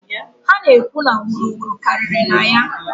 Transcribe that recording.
Ha na-ekwu na wuru wuru karịrị na ya.